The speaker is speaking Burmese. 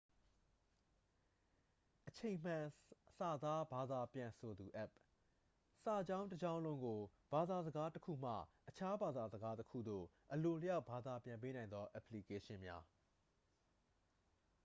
အချိန်မှန်စာသားဘာသာပြန်ဆိုသူအက်ပ် စာကြောင်းတစ်ကြောင်းလုံးကို ဘာသာစကားတစ်ခုမှ အခြားဘာသာစကားတစ်ခုသို့ အလိုအလျောက်ဘာသာပြန်ပေးနိုင်သောအက်ပလီကေးရှင်းများ